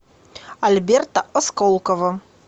альберта осколкова